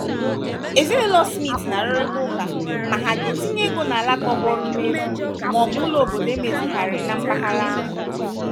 ezinụlọ smith na-arụrịta ụka ma ha ga-etinye ego n'ala tọgbọrọ n'efu ma ọ bụ ụlọ obodo emezigharịrị na mpaghara ahụ.